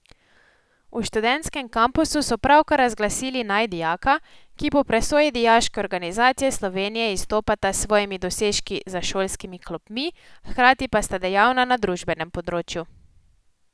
V študentskem kampusu so pravkar razglasili najdijaka, ki po presoji Dijaške organizacije Slovenije izstopata s svojimi dosežki za šolskimi klopmi, hkrati pa sta dejavna na družbenem področju.